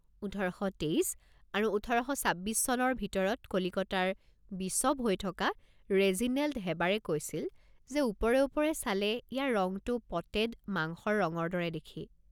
ওঠৰ শ তেইছ আৰু ওঠৰ শ ছাব্বিছ চনৰ ভিতৰত কলিকতাৰ বিশ্বপ হৈ থকা ৰেজিনেল্ড হেবাৰে কৈছিল যে ওপৰে ওপৰে চালে ইয়াৰ ৰংটো পটেড মাংসৰ ৰঙৰ দৰে দেখি।